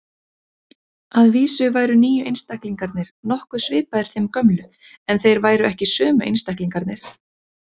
Að vísu væru nýju einstaklingarnir nokkuð svipaðir þeim gömlu, en þeir væru ekki sömu einstaklingarnir.